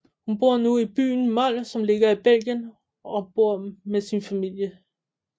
Hun bor nu i byen Mol som ligger i Belgien og bor med sin familie